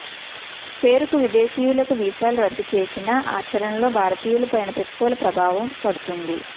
పేరుకు విదేశీయులకు వీసాలు రద్దు చేసినా ఆచరణలో భారతీయులపైనే ప్రతికూల ప్రభావం పడుతుంది